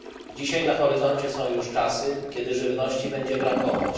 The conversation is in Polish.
Dzisiaj na horyzoncie są już czasy, kiedy żywności będzie brakować.